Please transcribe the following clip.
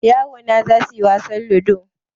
yaro na zaiyi zasuyi wasan ludo